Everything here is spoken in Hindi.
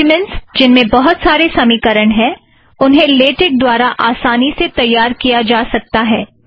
डॊक्युमेंट्स जिनमें बहुत सारे समीकरण हैं उन्हें लेटेक द्वारा आसानी से तैयार किया जा सकता है